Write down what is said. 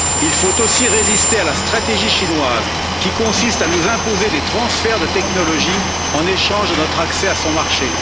Il faut aussi résister à la stratégie chinoise qui consiste à nous imposer des transferts de technologie en échange de notre accès à son marché.